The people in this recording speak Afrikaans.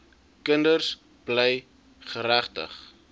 kinders bly geregtig